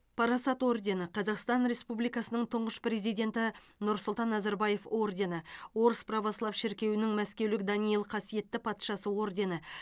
парасат ордені қазақстан республикасының тұңғыш президенті нұрсұлтан назарбаев ордені орыс православ шіркеуінің мәскеулік даниил қасиетті патшасы ордені